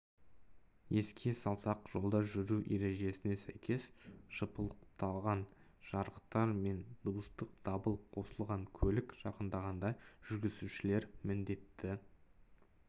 еске салсақ жолда жүру ережесіне сәйкес жыпылықтаған жарықтар мен дыбыстық дабыл қосылған көлік жақындағанда жүргізушілер міндетті